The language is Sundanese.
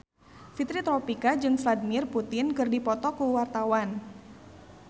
Fitri Tropika jeung Vladimir Putin keur dipoto ku wartawan